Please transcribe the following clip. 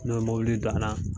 N'o ye mobili do ala